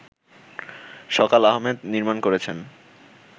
সকাল আহমেদ নির্মাণ করেছেন